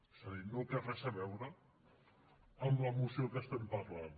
és a dir no té res a veure amb la moció que estem parlant